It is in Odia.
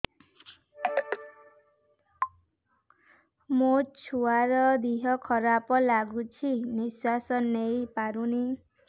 ମୋ ଛୁଆର ଦିହ ଖରାପ ଲାଗୁଚି ନିଃଶ୍ବାସ ନେଇ ପାରୁନି